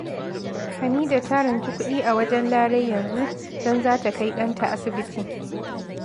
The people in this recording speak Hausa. Hamida ta ranci kuɗi a wajen Larai yanzu, don za ta kai ɗanta asibiti